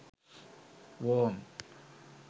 worm